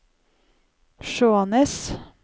Skjånes